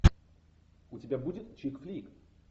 у тебя будет чикфлик